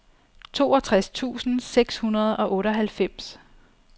toogtres tusind seks hundrede og otteoghalvfems